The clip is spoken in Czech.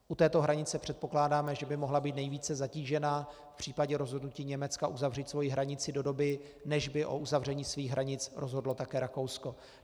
U této hranice předpokládáme, že by mohla být nejvíce zatížena v případě rozhodnutí Německa uzavřít svoji hranici do doby, než by o uzavření svých hranic rozhodlo také Rakousko.